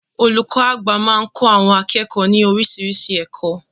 Olùkọ́ àgbà máa ń kọ́ àwọn akẹ́kọ̀ọ́ ní oríṣiríṣi ẹ̀kọ́.